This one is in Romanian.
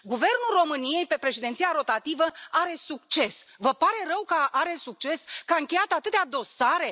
Guvernul României pe președinția rotativă are succes! Vă pare rău că are succes, că a încheiat atâtea dosare?